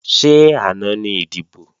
Ṣé àná ni ìdìbò?